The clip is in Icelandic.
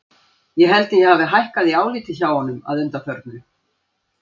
Ég held að ég hafi hækkað í áliti hjá honum að undanförnu.